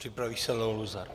Připraví se Leo Luzar.